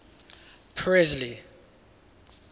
presley